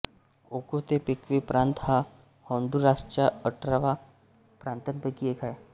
Ocotepeque प्रांत हा होन्डुरासच्या अठरा प्रांतांपैकी एक आहे